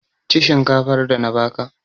Ci shinkafar da na ba ka!